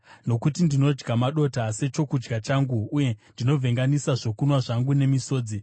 Nokuti ndinodya madota sechokudya changu, uye ndinovhenganisa zvokunwa zvangu nemisodzi,